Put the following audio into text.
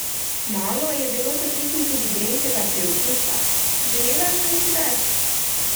Malo je bilo po tekmi tudi grenkega priokusa: "Želela sem si več.